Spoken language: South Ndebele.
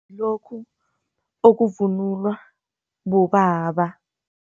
Ngilokhu okuvunulwa bobaba.